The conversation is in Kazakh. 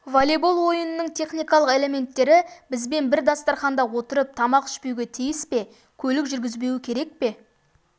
волейбол ойынның техникалық элементтері бізбен бір дастарханда отырып тамақ ішпеуге тиіс пе көлік жүргізбеуі керек пе